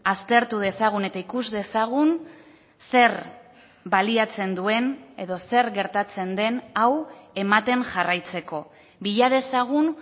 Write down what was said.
aztertu dezagun eta ikus dezagun zer baliatzen duen edo zer gertatzen den hau ematen jarraitzeko bila dezagun